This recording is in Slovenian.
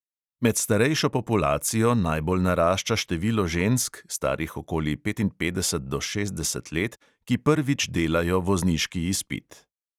Med starejšo populacijo najbolj narašča število žensk, starih okoli petinpetdeset do šestdeset let, ki prvič delajo vozniški izpit.